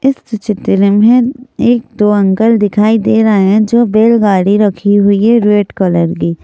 इस चित्र में एक दो अंकल दिखाई दे रहे हैं जो बैलगाड़ी रखी हुई है रेड कलर की।